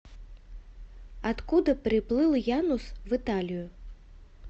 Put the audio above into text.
откуда приплыл янус в италию